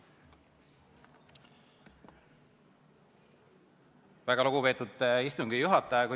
Väga lugupeetud istungi juhataja!